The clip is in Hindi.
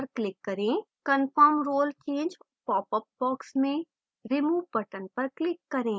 confirm role change popup box में remove button पर click करें